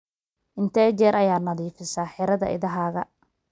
intee jeer ayaa nadiifisaa xirada idahaaga